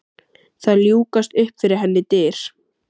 Það ljúkast upp fyrir henni dyr.